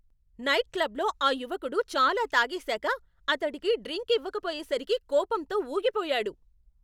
నైట్క్లబ్లో ఆ యువకుడు చాలా తాగేసాక, అతడికి డ్రింక్ ఇవ్వకపోయేసరికి కోపంతో ఊగిపోయాడు.